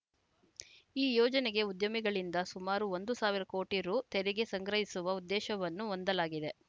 ಈ ಯೋಜನೆಗೆ ಉದ್ಯಮಿಗಳಿಂದ ಸುಮಾರು ಒಂದು ಸಾವಿರ ಕೋಟಿ ರು ತೆರಿಗೆ ಸಂಗ್ರಹಿಸುವ ಉದ್ದೇಶವನ್ನು ಹೊಂದಲಾಗಿದೆ